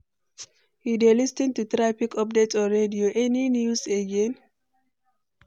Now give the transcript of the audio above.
You dey lis ten to traffic updates on radio, any news again?